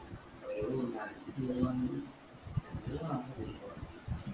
ഒരു